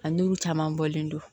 A n'u caman bɔlen don